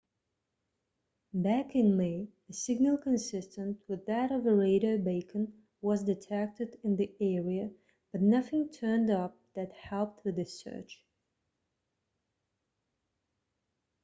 back in may a signal consistent with that of a radio beacon was detected in the area but nothing turned up that helped with the search